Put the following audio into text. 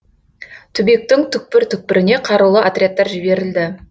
түбектің түкпір түкпіріне қарулы отрядтар жіберілді